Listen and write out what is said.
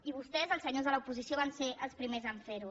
i vostès els senyors de l’oposició van ser els primers a ferho